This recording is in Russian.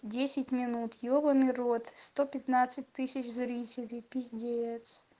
десять минут ебанный рот сто пятнадцать тысяч зрителей пиздец